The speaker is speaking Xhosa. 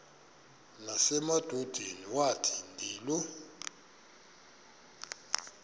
nasemadodeni wathi ndilu